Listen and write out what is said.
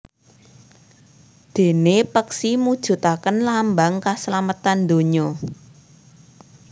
Déné peksi mujudaken lambang kaslametan dunya